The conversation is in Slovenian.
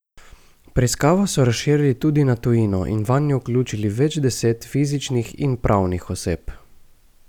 Preiskavo so razširili tudi na tujino in vanjo vključili več deset fizičnih in pravnih oseb.